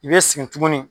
I bɛ segin tuguni